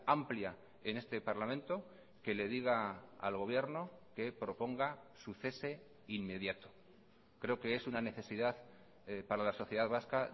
amplia en este parlamento que le diga al gobierno que proponga su cese inmediato creo que es una necesidad para la sociedad vasca